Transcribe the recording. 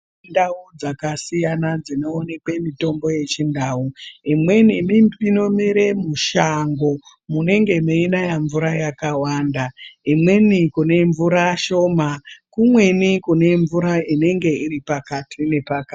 Ndau dzakasiyana dsinoonekwe mitombo yechindau imweni emipininomere mushango munenge mweinaye mvura yakawanda imweninkune mvura shoma kumweni kune mvura inenge iri pakati nepaka.